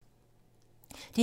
DR2